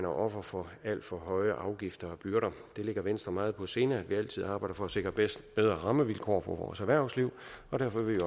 offer for alt for høje afgifter og byrder det ligger venstre meget på sinde at vi altid arbejder for at sikre bedre rammevilkår for vores erhvervsliv og derfor vil